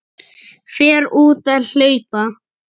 Fer út að hlaupa.